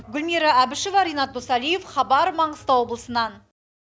гүлмира әбішева ренат досалиев хабар маңғыстау облысынан